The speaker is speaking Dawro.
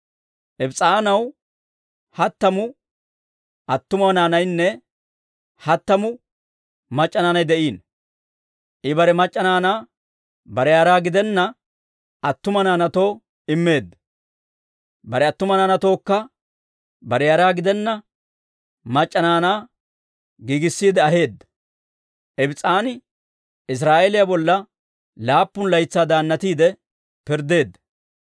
Ibs's'aanaw hattamu attumawaa naanaynne hattamu mac'c'a naanay de'iino; I bare mac'c'a naanaa bare yara gidenna attuma naanaatoo immeedda; bare attuma naanatookka bare yara gidenna mac'c'a naanaa giigissiide aheedda. Ibs's'aani Israa'eeliyaa bolla laappun laytsaa daannatiide pirddeedda.